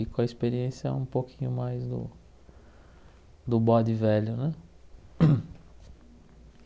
E com a experiência um pouquinho mais do bode velho, né?